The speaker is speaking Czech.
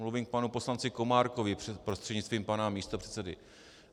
Mluvím k panu poslanci Komárkovi, prostřednictvím pana místopředsedy.